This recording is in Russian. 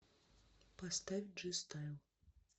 поставь джи стайл